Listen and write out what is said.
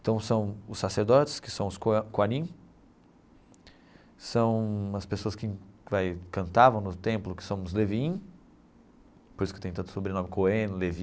Então são os sacerdotes, que são os Qua Quarin, são as pessoas que vai cantavam no templo, que são os Levin, por isso que tem tanto sobrenome Cohen, Levi,